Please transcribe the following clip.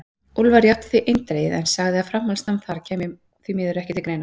Úlfar játti því eindregið, en sagði að framhaldsnám þar kæmi því miður ekki til greina.